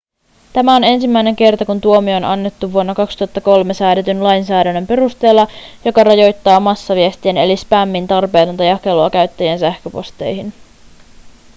tämä on ensimmäinen kerta kun tuomio on annettu vuonna 2003 säädetyn lainsäädännön perusteella joka rajoittaa massaviestien eli spämmin tarpeetonta jakelua käyttäjien sähköposteihin